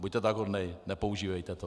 Buďte tak hodný, nepoužívejte to.